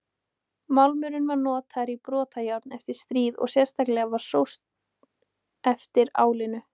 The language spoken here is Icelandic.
Málmurinn var notaður í brotajárn eftir stríð og sérstaklega var sóst eftir álinu.